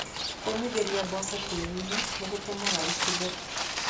Kũũmithĩria mboco tĩĩri-inĩ nĩgũtũmaga ibuthe.